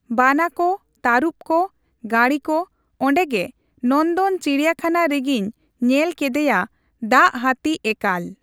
ᱵᱟᱱᱟ ᱠᱚ, ᱛᱟᱨᱩᱯ ᱠᱚ, ᱜᱟᱹᱬᱤ ᱠᱚ ᱚᱸᱰᱮ ᱜᱮ ᱱᱚᱱᱫᱚᱱ ᱪᱤᱲᱤᱭᱟᱹ ᱠᱷᱟᱱᱟ ᱨᱮᱜᱤᱧ ᱧᱮᱞ ᱠᱮᱫᱮᱭᱟ ᱫᱟᱜ ᱦᱟᱛᱤ ᱮᱠᱟᱞ᱾